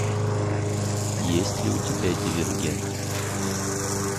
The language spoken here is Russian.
есть ли у тебя дивергент